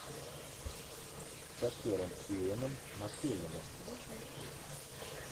с актером иэном маккелленом